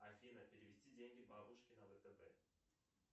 афина перевести деньги бабушке на втб